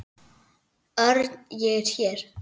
Örn, ég er hér